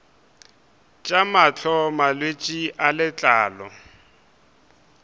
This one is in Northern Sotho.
tša mahlo malwetse a letlalo